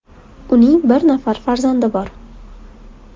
Uning bir nafar farzandi bor.